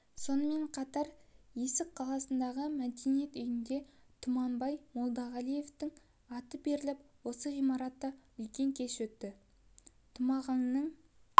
сонымен қатар есік қаласындағы мәдениет үйіне тұманбай молдағалиевтің аты беріліп осы ғимаратта үлкен кеш өтті тұмағаңның